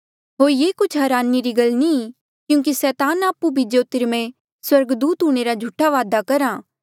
होर ये कुछ हरानी री गल नी ई क्यूंकि सैतान आपु भी ज्योतिमर्य स्वर्गदूत हूंणे रा झूठा दावा करहा